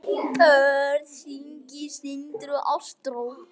Börn: Signý, Sindri og Ástrós.